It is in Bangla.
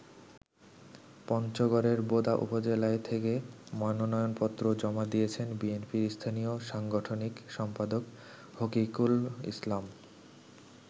পঞ্চগড়ের বোদা উপজেলা থেকে মনোনয়নপত্র জমা দিয়েছেন বিএনপির স্থানীয় সাংগঠনিক সম্পাদক হকিকুল ইসলাম।